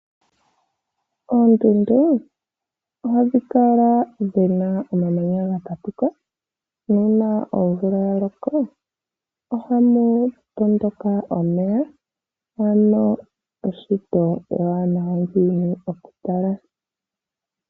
Oondundu ohadhi kala dhina omamanya ga tatuka, nuuna omvula ya loko, okay tondoka omeya, ano eshito ewanawa unene okutala.